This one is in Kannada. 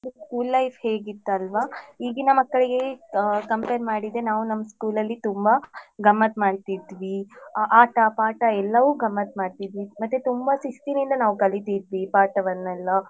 School life ಹೇಗಿತ್ತಲ್ವಾ ಈಗಿನ ಮಕ್ಕಳಿಗೆ ಅ compare ಮಾಡಿದ್ರೆ ನಾವ್ ನಮ್ಮ್ school ಅಲ್ಲಿ ತುಂಬ ಗಮ್ಮತ್ ಮಾಡ್ತಿದ್ವಿ ಆ~ ಆಟ ಪಾಠ ಎಲ್ಲವು ಗಮ್ಮತ್ ಮಾಡ್ತಿದ್ವಿ ಮತ್ತೆ ತುಂಬ ಶಿಸ್ತಿನಿಂದ ಕಲಿತಿದ್ವಿ ಪಾಠವನೆಲ್ಲಾ.